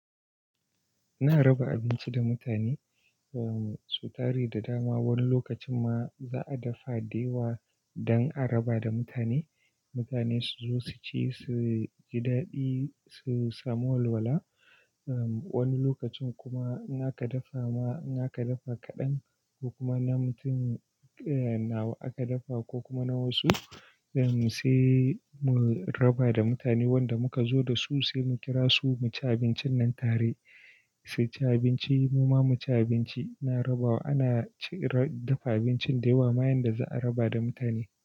Ina raba abinci da mutane, sai tare da dama. Wani lokacin ma za a dafa dayawa don a raba da mutane. Mutane su zo su ci, su ji daɗi, su samu walwala. Wani lokacin kuma in aka dafa ma, in aka dafa kaɗan ko kuma na mutum nawa aka dafa ko kuma na wasu, sai mu raba da mutane wanda muka zo da su, sai mu kira su mu ci abincin nan tare. Su ci abinci, mu ma mu ci abinci. Ina rabawa, ana ci, dafa abincin da yawa ma yanda za a raba da mutane.